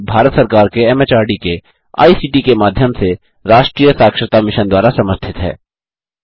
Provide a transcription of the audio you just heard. यह भारत सरकार के एमएचआरडी के आईसीटी के माध्यम से राष्ट्रीय साक्षरता मिशन द्वारा समर्थित है